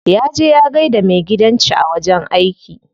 Ya je ya gaida maigidanci a wajen aiki.